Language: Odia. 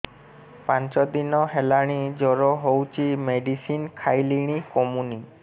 ପାଞ୍ଚ ଦିନ ହେଲାଣି ଜର ହଉଚି ମେଡିସିନ ଖାଇଲିଣି କମୁନି